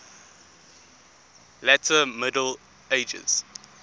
later middle ages